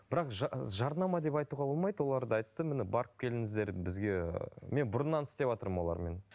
бірақ жарнама деп айтуға болмайды олар да айтты міне барып келіңіздер бізге мен бұрыннан істеватырмын олармен